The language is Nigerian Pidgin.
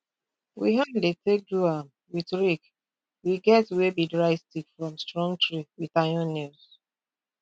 we hand dey take do am with rake we get wey be dry stick from strong tree with iron nails